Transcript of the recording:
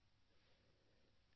নমস্কাৰ